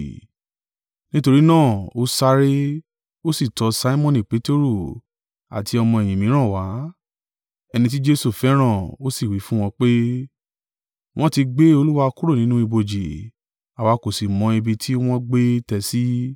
Nítorí náà, ó sáré, ó sì tọ Simoni Peteru àti ọmọ-ẹ̀yìn mìíràn wá, ẹni tí Jesu fẹ́ràn, ó sì wí fún wọn pé, “Wọ́n ti gbé Olúwa kúrò nínú ibojì, àwa kò sì mọ ibi tí wọ́n gbé tẹ́ ẹ sí.”